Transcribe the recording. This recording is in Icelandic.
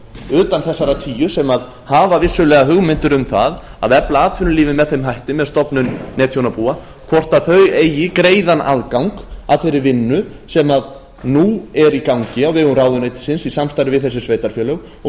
utan þessara tíu sem hafa vissulega hugmyndir um það að efla atvinnulífið með þeim hætti með stofnun netþjónabúa hvort þau eigi greiðan aðgang að þeirri vinnu sem nú er í gangi á vegum ráðuneytisins í samstarfi við þessi sveitarfélög og